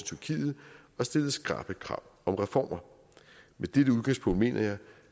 til tyrkiet og stillet skrappe krav om reformer med dette udgangspunkt mener jeg